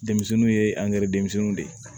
Denmisɛnninw ye angɛrɛ denmisɛnninw de ye